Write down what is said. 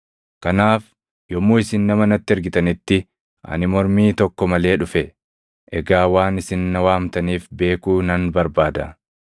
Kanaaf yommuu isin nama natti ergitanitti ani mormii tokko malee dhufe; egaa waan isin na waamtaniif beekuu nan barbaada.”